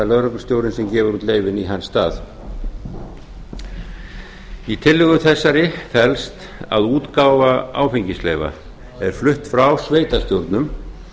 lögreglustjórinn sem gefur út leyfin í hans stað í tillögu þessari felst að útgáfa áfengisleyfa er flutt frá sveitarstjórnum